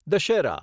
Dussehra